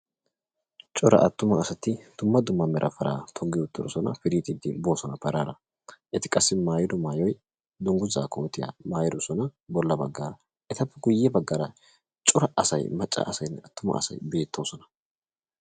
Cora attuma asaati dumma dumma meera paraa togi uttidosona. Pirixxidi bosona pararaa. Eti qassi maayidoy maayoy dunguzza kootiya maayidosna bolla baggara. Eta guyye baggara cora asaay macca asaay attuma asaay betosona.